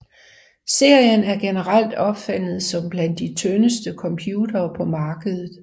Serien er generelt opfattet som blandt de tyndeste computere på markedet